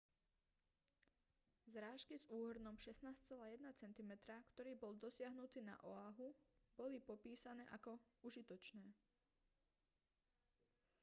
zrážky s úhrnom 16,1 cm ktorý bol dosiahnutý na oahu boli popísané ako užitočné